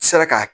Sera ka